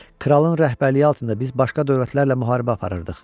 Kralın rəhbərliyi altında biz başqa dövlətlərlə müharibə aparırdıq.